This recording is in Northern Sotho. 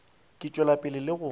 ka tšwela pele le go